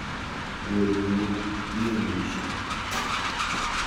Weri nyo nyiamishe.